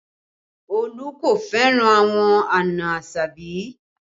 Olu kò fẹ́ràn àwọn àna Asabi